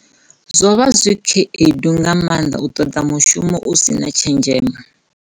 Zwo vha zwi khaedu nga maanḓa u ṱoḓa mushumo u si na tshenzhemo.